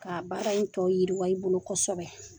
Ka baara in tɔnɔ yiriwa i bolo kosɛbɛ